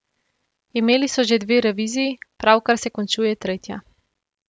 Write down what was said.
Imel so že dve reviziji, pravkar se končuje tretja.